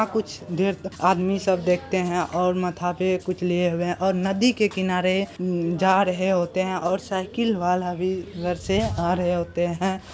अ कुछ देर तक आदमी सब देखते हैं और माथा पे कुछ लिए हुए और नदी के किनारे मम जा रहे होते हैं और साइकिल वाला भी घर से आ रहे होते हैं।